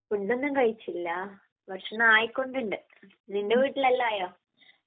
Food ഒന്നും കഴിച്ചില്ല. ഭക്ഷണം ആയിക്കൊണ്ടുണ്ട്. നിന്റെ വീട്ടിൽ എല്ലാം ആയോ?